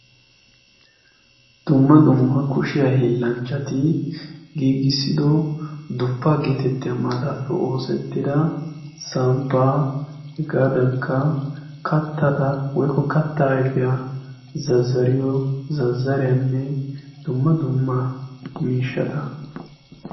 dumma dumma kushiyaa hillanchchati giigissido duppaa geetettiya maataapi oosettida samppaa hegaadankka kattata woikko katta aifiyaa zazariyo zazzariyaanne dumma dumma miishshata